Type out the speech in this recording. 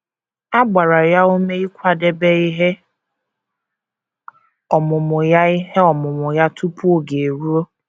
A gbara ya ume ịkwadebe ihe ọmụmụ ya ihe ọmụmụ ya tupu oge eruo.